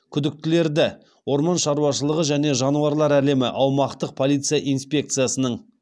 күдіктілерді орман шауашылығы және жануарлар әлемі аумақтық полиция инспекциясының